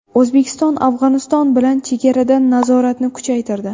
O‘zbekiston Afg‘oniston bilan chegarada nazoratni kuchaytirdi.